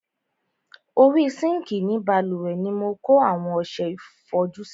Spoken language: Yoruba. Orí sinkii ni bálùwẹ̀ ni mo kó àwọn ọsẹ ìfọjú sí.